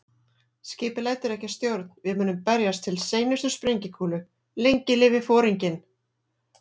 Skipið lætur ekki að stjórn, við munum berjast til seinustu sprengikúlu- lengi lifi Foringinn